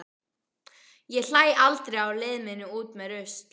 Ég hlæ aldrei á leið minni út með rusl.